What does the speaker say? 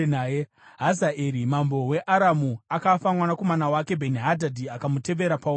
Hazaeri mambo weAramu akafa, mwanakomana wake Bheni-Hadhadhi akamutevera paumambo.